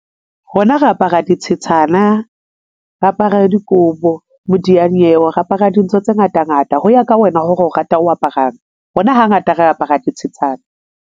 Rona re apara dithethana, re apara dikobo, modiyanyewe, re apara dintho tse ngata ngata ho ya ka wena hore o rata o aparang. Rona hangata re apara dithethane.